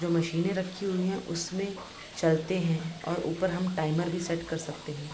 जो मशीनें रखी हुई हैं उसमें चलते हैं और ऊपर हम टाइमर भी सेट कर सकते हैं।